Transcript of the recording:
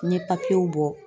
N ye bɔ